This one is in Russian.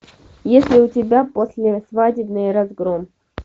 есть ли у тебя послесвадебный разгром